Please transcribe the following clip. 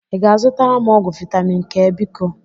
ị ga-azụtara m ọgwụ vitamin K biko?